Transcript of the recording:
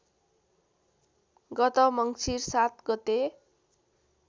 गत मङ्सीर ७ गते